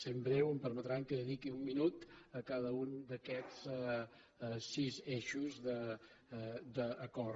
sent breu em permetran que dediqui un minut a cada un d’aquests sis eixos d’acord